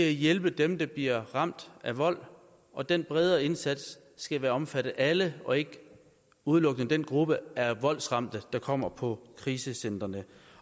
at hjælpe dem der bliver ramt af vold og den bredere indsats skal vel omfatte alle og ikke udelukkende den gruppe af voldsramte der kommer på krisecentrene